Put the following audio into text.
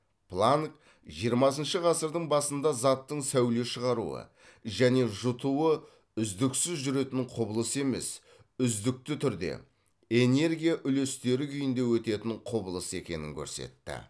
планк жиырмасыншы ғасырдың басында заттың сәуле шығаруы және жұтуы үздіксіз жүретін құбылыс емес үздікті түрде энергия үлестері күйінде өтетін құбылыс екенін көрсетті